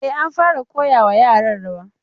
E, an fara koya wa yaran rawa.